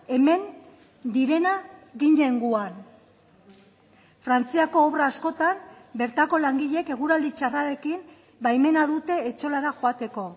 hemen direna ginen gu han frantziako obra askotan bertako langileek eguraldi txarrarekin baimena dute etxolara joateko